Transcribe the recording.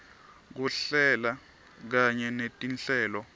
kuhlela kanye netinhlelo